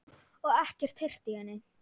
Og ekkert heyrt í henni?